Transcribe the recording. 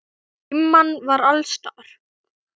Dimman var alls staðar.